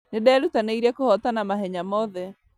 Nĩnderutanĩirie kũhotana mahenya mothe